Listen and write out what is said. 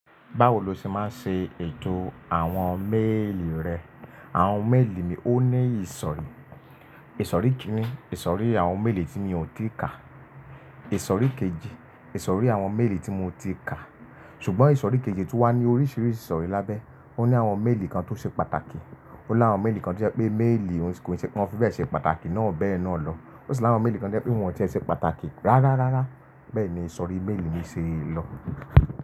Báwo lo ṣe máa ń ṣe ètò àwọn méèlì rẹ? Àwọn méèlì mi ó ní ìsòrí. Ìsòrí kíni? Ìsòrí àwọn méèlì tí mi ò tíì kà. Ìsòrí kejì, ìsòrí àwọn méèlì tí mo ti kà. Ṣùgbọ́n ìsòrí kejì tún wá ní oríṣiríṣi ìsòrí lábẹ́. Ó ní àwọn méèlì kan tó ṣe pàtàkì, ó ní àwọn méèlì kan tí ó jẹ́ pé méèlì kon se pe won fi bẹ́ẹ̀ ṣe pàtàkì náà bẹ́ẹ̀ na lọ. Ó sì ní àwọn méèlì kan tí ojẹ́ pé wọn ò tíe ṣe pàtàkì rárá rárá. Bẹ́ẹ̀ ni ìsòrí méèlì mi ṣe lọ.